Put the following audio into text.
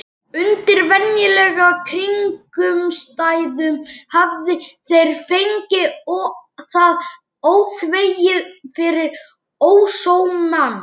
Undir venjulegum kringumstæðum hefðu þeir fengið það óþvegið fyrir ósómann.